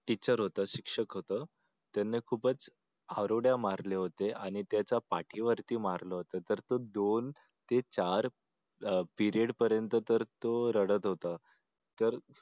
teacher होत शिक्षक होत त्यांना खूपच हारोडे मारले होते आणि त्याच्या पाठीवरती मारलं होत तर त्या दोन ते चार अह period पर्यंत तो रडत होता तर